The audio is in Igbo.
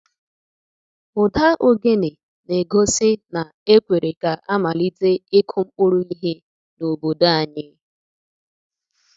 Ụda ogene na-egosi na ekwere ka a malite ịkụ mkpụrụ ihe n’obodo anyị.